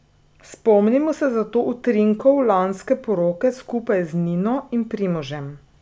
Spomnimo se zato utrinkov lanske poroke skupaj z Nino in Primožem.